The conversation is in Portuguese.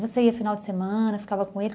Você ia final de semana, ficava com ele.